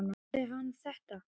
Sagði hann þetta?